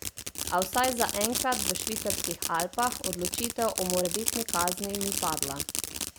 A vsaj zaenkrat v švicarskih Alpah odločitev o morebitni kazni ni padla.